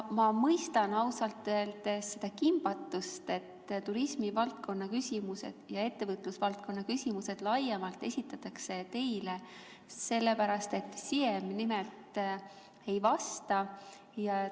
Ja ma ausalt öeldes mõistan seda kimbatust, et turismivaldkonna küsimused ja ettevõtlusvaldkonna küsimused laiemalt esitatakse teile, sellepärast et Siem nimelt ei vasta.